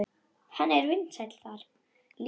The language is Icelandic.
Hann var vinsæll þar.